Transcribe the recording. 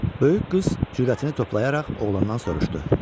Böyük qız cürətini toplayaraq oğlandan soruşdu: